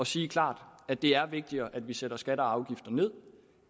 sige klart at det er vigtigere at vi sætter skatter og afgifter ned